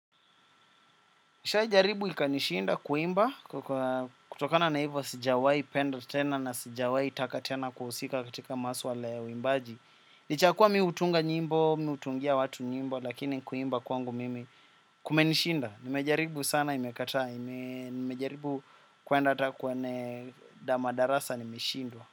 Nishai jaribu ikanishinda kuimba kutokana na hivyo sijawai penda tena na sijawahi taka tena kuhusika katika maswala ya uwimbaji. Nichakua mimi hutunga nyimbo, mimi hutungia watu nyimbo lakini kuimba kwangu mimi kumenishinda. Nimejaribu sana imekataa, nimejaribu kuenda ata kwenye dama darasa nimeshindwa.